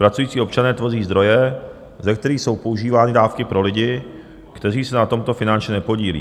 Pracující občané tvoří zdroje, ze kterých jsou používány dávky pro lidi, kteří se na tomto finančně nepodílí.